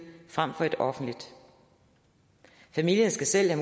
frem for et offentligt familierne skal selv